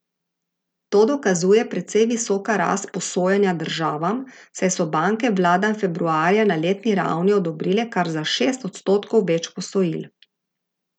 To dokazuje precej visoka rast posojanja državam, saj so banke vladam februarja na letni ravni odobrile kar za šest odstotkov več posojil.